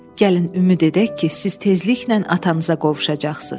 Gəlin ümid edək ki, siz tezliklə atanıza qovuşacaqsınız.